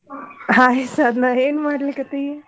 Hai Sadhana ಏನ್ ಮಾಡ್ಲಿಕತ್ತಿ?